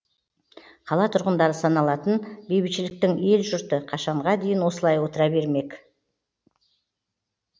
қала тұрғындары саналатын бейбітшіліктің ел жұрты қашанға дейін осылай отыра бермек